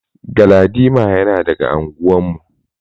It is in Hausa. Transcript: Galadima yana daga anguwar mu.